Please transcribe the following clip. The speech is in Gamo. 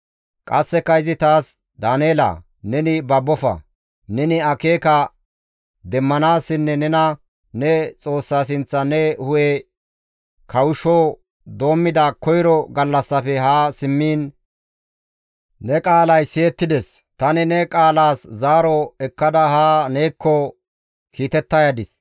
Qasseka izi taas, «Daaneela neni babbofa; neni akeeka demmanaasinne nena ne Xoossa sinththan ne hu7e kawushsho doommida koyro gallassafe haa simmiin ne qaalay siyettides; tani ne qaalaas zaaro ekkada haa neekko kiitetta yadis.